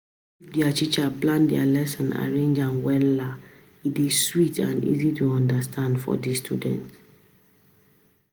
If di teacher plan di lesson arrange am wella, e dey sweet and easy to understand for di students.